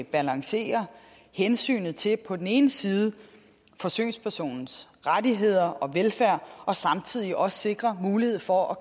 balancerer hensynet til på den ene side forsøgspersonens rettigheder og velfærd og samtidig også sikrer mulighed for at